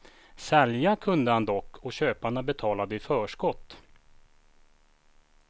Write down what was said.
Sälja kunde han dock och köparna betalade i förskott.